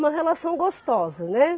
Uma relação gostosa, né?